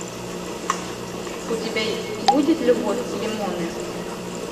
у тебя будет любовь и лимоны